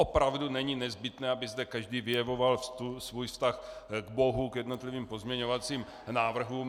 Opravdu není nezbytné, aby zde každý vyjevoval svůj vztah k Bohu, k jednotlivým pozměňovacím návrhům.